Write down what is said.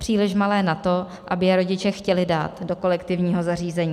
Příliš malé na to, aby je rodiče chtěli dát do kolektivního zařízení.